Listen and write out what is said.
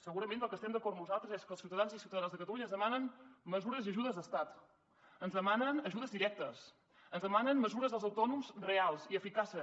segurament en el que estem d’acord nosaltres és que els ciutadans i ciutadanes de catalunya ens demanen mesures i ajudes d’estat ens demanen ajudes directes ens demanen mesures per als autònoms reals i eficaces